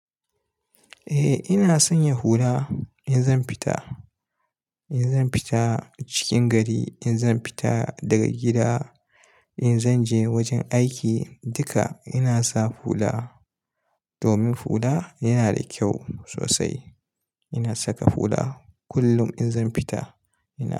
Eh ina sanya hula in zan fita, in zan fita cikin gari, in zan fita daga gida, in zan je wajen aiki, duka ina sa hula domin hula yana da kyau sosai. Ina saka hula kullum in zan fita. Ina.